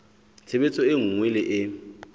tshebetso e nngwe le e